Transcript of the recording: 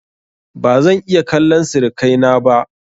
ba zan iya kallan sirikai na ba